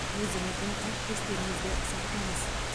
өзіңізді әріптестеріңізді сақтаңыз